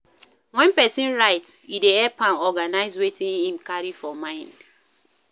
When person write e dey help am organize wetin im carry for mind